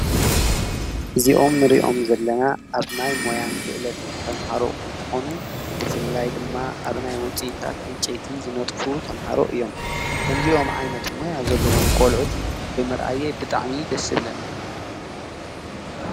እዚኦም ንርእዮም ዘለና ኣብ ናይ ሞያን ክእለትን ተምሃሮ እንተኾኑ ብፍላይ ድማ ኣብ ናይ ወፂእታት እንቄቲ ዝነጥፉ ተምሃሮ እዮም ከምዚይኦም ዓይነት እሞያ ዘለዎም ቖልዑት ብምርኣየ ብጥዕሚ ደስብለኒ።